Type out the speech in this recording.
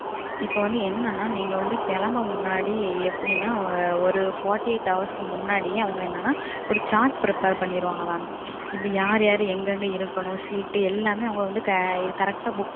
ஆமாம் என்னன்னா. இப்போ வந்து என்னன்னா நீங்க வந்து கிளம்ப முன்னாடி எப்பிடின்னா ஒரு நாற்பத்தி எட்டு மணிநேரத்துக்கு முன்னாடி அவங்க என்னன்னா ஒரு சார்ட் பண்ணுவாங்க மாம். இதுல யாருயாரு எங்கேங்க இருக்கணும் அமர்வுகள் எல்லாமே அவங்க வந்து சரியா புக் பண்ணி